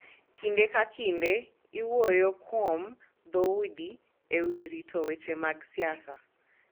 Kinde ka kinde iwuoyo kuom dhoudi e wi rito weche mag siasa